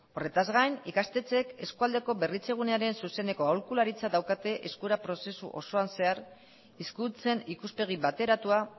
horretaz gain ikastetxeek eskualdeko berritzegunearen zuzeneko aholkularitza daukate eskura prozesu osoan zehar hizkuntzen ikuspegi bateratua